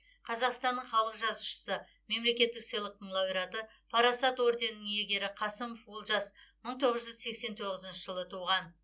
қазақстанның халық жазушысы мемлекеттік сыйлықтың лауреаты парасат орденінің иегері қасымов олжас мың тоғыз жүз сексен тоғызыншы жылы туған